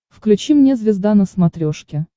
включи мне звезда на смотрешке